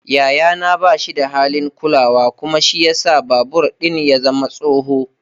Yayana ba shi da halin kulawa kuma shi ya sa babur ɗin ya zama tsoho.